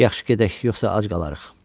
Yaxşı gedək, yoxsa ac qalacağıq.